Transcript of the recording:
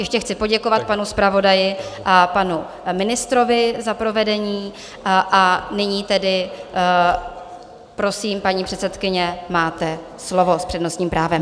Ještě chci poděkovat panu zpravodaji a panu ministrovi za provedení, a nyní tedy prosím, paní předsedkyně, máte slovo s přednostním právem.